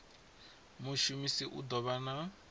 mushumisi u ḓo vha na